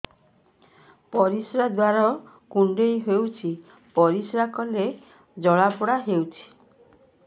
ପରିଶ୍ରା ଦ୍ୱାର କୁଣ୍ଡେଇ ହେଉଚି ପରିଶ୍ରା କଲେ ଜଳାପୋଡା ହେଉଛି